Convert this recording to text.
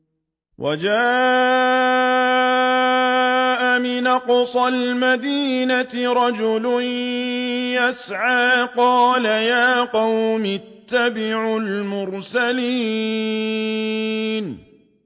وَجَاءَ مِنْ أَقْصَى الْمَدِينَةِ رَجُلٌ يَسْعَىٰ قَالَ يَا قَوْمِ اتَّبِعُوا الْمُرْسَلِينَ